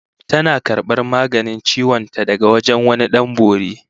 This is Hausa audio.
Tana karbar maganin ciwon ta daga wajen wani Dan Bori